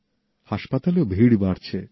হাসপাতালেও ভিড় বাড়ছে